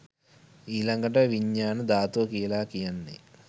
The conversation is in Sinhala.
ඊළඟට විඤ්ඤාණ ධාතුව කියල කියන්නේ